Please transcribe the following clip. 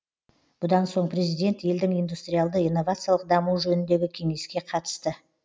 бұдан соң президент елдің индустриалды инновациялық дамуы жөніндегі кеңеске қатысты